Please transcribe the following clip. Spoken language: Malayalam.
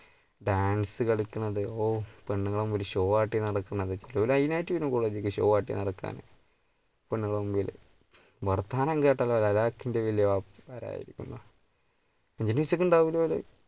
dance കളിക്കുന്നത് പെണ്ണുങ്ങളുടെ മുമ്പിൽ show കാട്ടി നടക്കുന്നത് ചിലപ്പ line ആട്ടി വരു show കാട്ടി നടക്കാന് പെണ്ണുങ്ങളുടെ മുമ്പില് വർത്താനം കേട്ടാലോ അലാക്കിന്റ